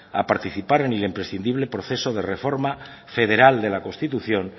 a participar en el imprescindible proceso de reforma federal de la constitución